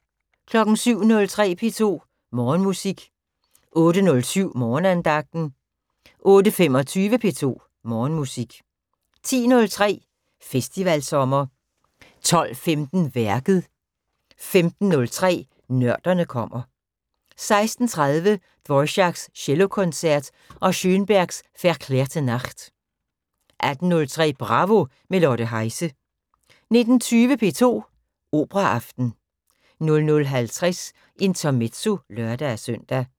07:03: P2 Morgenmusik 08:07: Morgenandagten 08:25: P2 Morgenmusik 10:03: Festivalsommer 12:15: Værket 15:03: Nørderne kommer 16:30: Dvoráks Cellokoncert og Schönbergs Verklärte Nacht 18:03: Bravo – med Lotte Heise 19:20: P2 Operaaften 00:50: Intermezzo (lør-søn)